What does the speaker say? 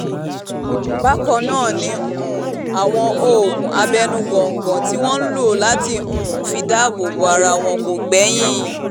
bákan náà ni um àwọn oògùn abẹ́nú góńgó tí wọ́n ń lò láti um fi dáàbò bo ara wọn kò gbẹ́yìn